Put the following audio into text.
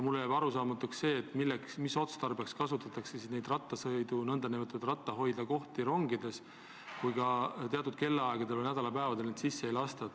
Mulle jääb arusaamatuks, mis otstarbeks on need ratta hoidmise kohad rongides olemas, kui ka teatud kellaaegadel või nädalapäevadel rattaga rongi sisse ei lasta.